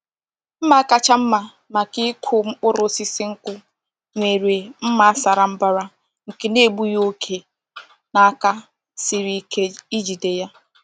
Mma kacha mma maka ịkụ mkpụrụ osisi nkwụ nwere mma sara mbara nke na-egbughị oke na aka siri ike ijide ya.